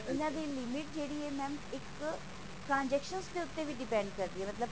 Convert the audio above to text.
ਇਹਨਾਂ ਦੀ limit ਜਿਹੜੀ ਹੈ mam ਇੱਕ transactions ਦੇ ਉੱਤੇ ਵੀ depend ਕਰਦੀ ਹੈ ਮਤਲਬ